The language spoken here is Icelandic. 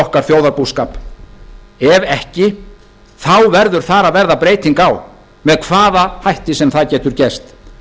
okkar þjóðarbúskap ef ekki verður þar að verða breyting á með hvaða hætti sem það getur gerst